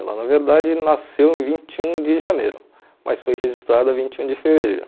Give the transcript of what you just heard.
Ela, na verdade, nasceu em vinte e um de janeiro, mas foi registrada vinte e um de fevereiro.